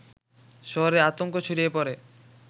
শহরে আতঙ্ক ছড়িয়ে পড়ে